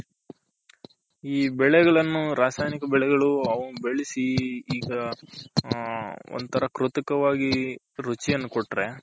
ಈ ಬೆಳೆಗಳನ್ನೂ ರಾಸಾಯನಿಕ ಬೆಳೆಗಳು ಅವು ಬೆಳಸಿ ಈಗ ಹ ಒಂದ್ ತರ ಕೃತಕವಾಗಿ ರುಚಿಯನ್ನು ಕೊಟ್ರೆ.